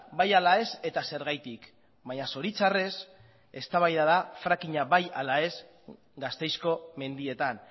bai ala ez eta zergatik baina zoritxarrez eztabaida da fracking a bai ala ez gasteizko mendietan